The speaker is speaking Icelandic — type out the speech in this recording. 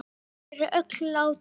Þau er öll látin.